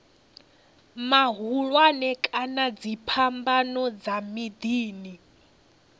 mahulwane kana dziphambano dza miḓini